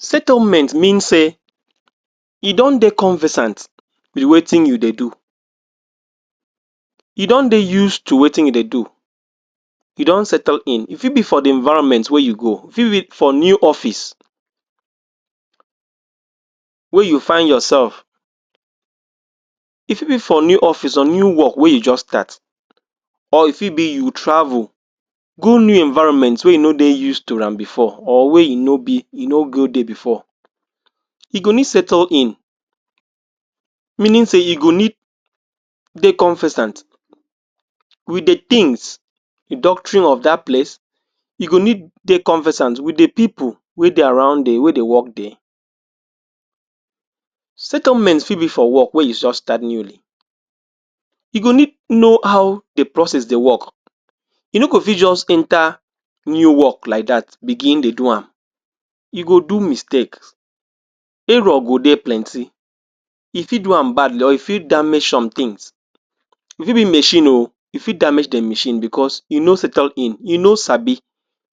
Settlement mean sey e don dey conversant with wetin you dey do, you don dey used to wetin you dey do. you don settle in e fit be for dey environment wey you go, e fit be for new office wey you find yourself e fit be for new office or new work wey you just start or e fit be you travel go new environment wey you no dey used to am before or wey you no go there before you no need settle in, e mean sey you go need dey conservant with dey things dey doctrine of dat place you go need dey conversant with dey pipul wey dey around dia, wey dey work dia Settlement fit be for work wey you just start newly, e go need know how dey process dey work you no fit just enter new work like dat begin dey do am you go do mistake, error go dey plenty. you fit do am badly or you fit damage some things, e fit machine oo e fit damage dia machine because you no settle in, you no sabi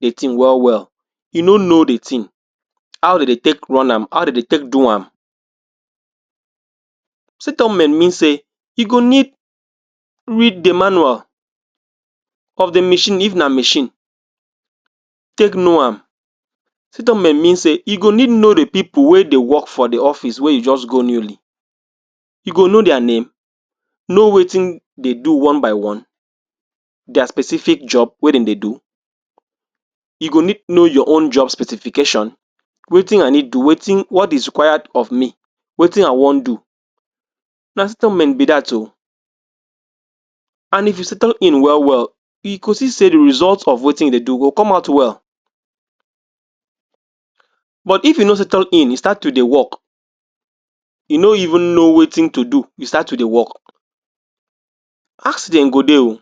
the thing well well, you no know dey thing, how de dey take run am how de dey take do am. Settlement mean sey you go need read dey manual of dey machine if na machine, take know am. Settlement mean sey you go need know dey pipul wey dey work for deyoffice wey you just go newly you go know dia name, know wetin dey do one by one, dia specific job wey dem dey do, you go need know your own job specification wetin i need do, wetin what is required of me wetin i wan do na settlement be dat oo and if you settle in well well you go see sey dey result of wetin you dey do go come out well. but if you no settle in you start to dey work you no even know wetin to do you start to dey work accident go dey oo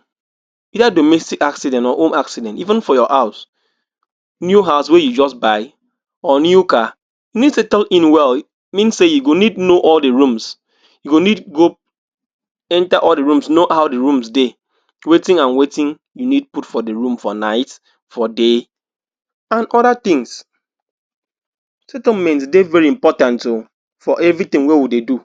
either domestic accident or home accident even for your house, new house wey you just buy or new car, you need settle in well mean sey you go need know all dey rooms, you go need enter the rooms know how dey rooms dey wetin and wetin you need put for dey room at night, for day and other things. Settlement dey very important oo for everything wey we dey do.